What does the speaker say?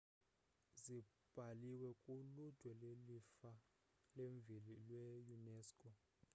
zibhaliwe ku-ludwe le-lifa lemveli lwe-unesco